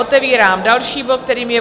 Otevírám další bod, kterým je